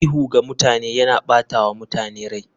Ihu ga mutane yana ɓata wa mutane rai.